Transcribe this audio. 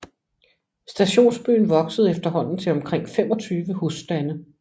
Stationsbyen voksede efterhånden til omkring 25 husstande